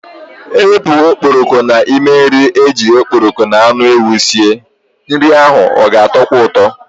Ewepu okporoko n'ime nri eji okporoko n'anu ewu sie, nri ahụ ga-atọkwa ụtọ.